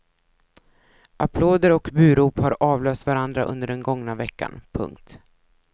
Applåder och burop har avlöst varandra under den gångna veckan. punkt